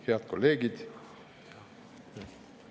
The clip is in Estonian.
Head kolleegid!